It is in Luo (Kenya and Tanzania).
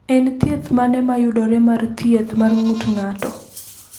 En thieth mane ma yudore mar thieth mar ng’ut ng’ato?